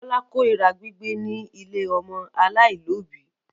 Bọ́lá korira gbígbé ní ilé ọmọ aláìlóòbí.